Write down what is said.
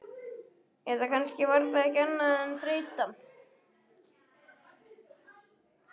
Eða kannski var það ekki annað en þreyta.